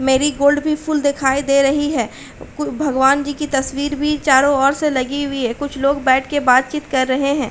Marigold भी फूल दिखाई दे रही है। कु भगवान जी की तस्वीर भी चारों ओर से लगी हुई है। कुछ लोग बैठके बातचीत कर रहे हैं।